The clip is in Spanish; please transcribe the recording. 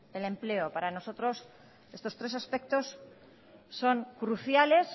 el empleo para nosotros estos tres aspectos son cruciales